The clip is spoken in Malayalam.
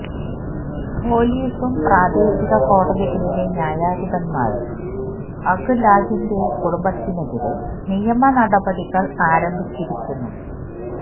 പൊലീസും പ്രാദേശിക കോടതികളിലെ ന്യായാധിപന്മാരും അഖ്ലാഖിന്റെ കുടുംബത്തിനെതിരെ നിയമ നടപടികള് ആരംഭിച്ചിരിക്കുന്നു